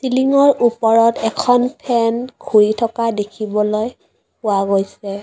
চিলিংৰ ওপৰত এখন ফেন ঘূৰি থকা দেখিবলৈ পোৱা গৈছে।